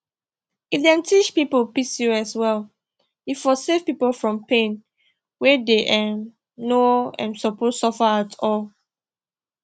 if dem teach people pcos well e for save people from pain wey dem um no um suppose suffer at all